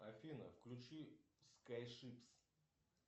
афина включи скайшипс